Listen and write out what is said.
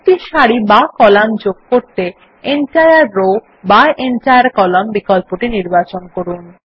একটি সারি বা কলাম যোগ করতে এনটায়ার রো বা এনটায়ার কলাম্ন বিকল্পটি নির্বাচন করুন